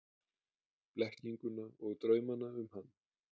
Blekkinguna og draumana um hann.